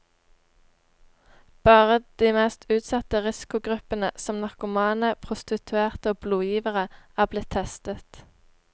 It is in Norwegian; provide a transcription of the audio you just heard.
Bare de mest utsatte risikogruppene, som narkomane, prostituerte og blodgivere, er blitt testet.